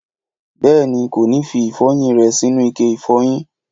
Bèéní, kò ní fi ìfọyín rè sínú ike ìfọyín